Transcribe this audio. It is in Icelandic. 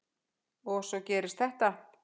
Og svo gerist þetta.